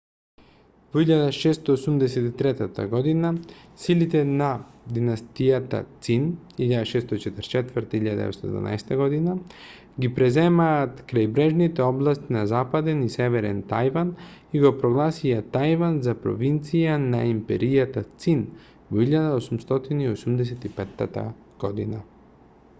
во 1683 година силите на династијата цин 1644-1912 година ги преземаат крајбрежните области на западен и северен тајван и го прогласија тајван за провинција на империјата цин во 1885 година